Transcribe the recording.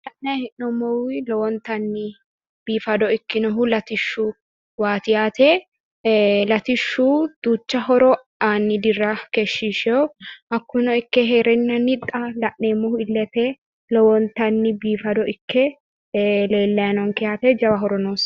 Kuni la’nayi hee'noommowi lowontanni biifado ikkinohu latishshuwaati yaate. Latishshu duucha horo aanni dirra keeshshishewo hakkuno ikke heereennanni xa la’neemmohu illete lowontanni biifado ikke leellayi noonke yaate jawa horo noosi.